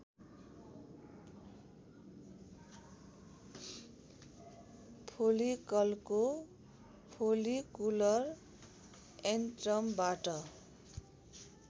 फोलिकलको follicular एन्ट्रमबाट